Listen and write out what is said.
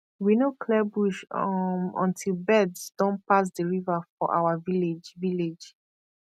we no clear bush um until birds don pass the river for our village village